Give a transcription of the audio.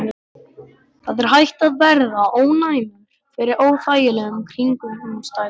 Það er hægt að verða ónæmur fyrir óþægilegum kringumstæðum.